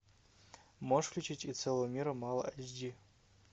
можешь включить и целого мира мало эйч ди